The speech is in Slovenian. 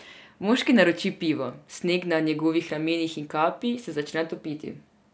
Moški naroči pivo, sneg na njegovih ramenih in kapi se začne topiti.